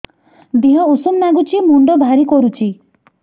ଦିହ ଉଷୁମ ନାଗୁଚି ମୁଣ୍ଡ ଭାରି କରୁଚି